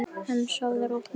En sofðu rótt, mamma mín.